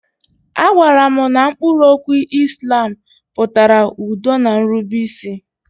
A gwaara m na mkpụrụ okwu Islam pụtara udo na nrubeisi.